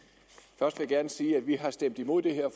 først vil jeg gerne sige at vi har stemt imod det her